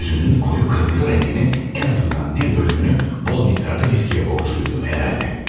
Yüzünün koyu kırmızı rengini en azından bir bölümünü bol miktarda viskiye borçluydu herhalde.